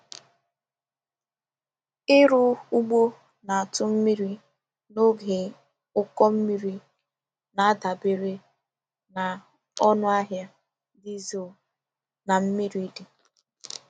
Ịrụ ugbo na-atụ mmiri n’oge ụkọ mmiri na-adabere na ọnụ ahịa dizel na mmiri dị.